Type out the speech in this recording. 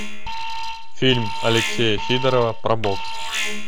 фильм алексея сидорова про бокс